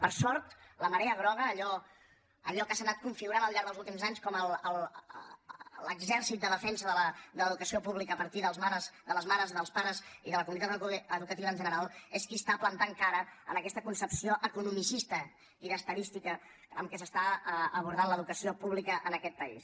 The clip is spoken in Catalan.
per sort la marea groga allò que s’ha anat configurant al llarg dels últims anys com l’exèrcit de defensa de l’educació pública a partir de les mares dels pares i de la comunitat educativa en general és qui planta cara en aquesta concepció economicista i d’estadística amb què s’aborda l’educació pública en aquest país